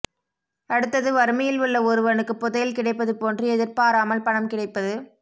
அடுத்தது வறுமையில் உள்ள ஒருவனுக்கு புதையல் கிடைப்பது போன்று எதிர்பாராமல் பணம் கிடைப்பது